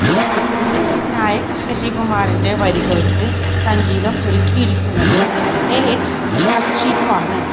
വിനായക് ശശികുമാറിന്റെ വരികള്ക്ക് സംഗീതം ഒരുക്കിയിരിക്കുന്നത് എ എച്ച് കഷിഫാണ്